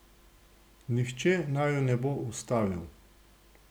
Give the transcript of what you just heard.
Nihče naju ne bo ustavil.